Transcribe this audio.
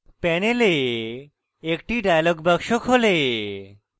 panel একটি dialog box খোলে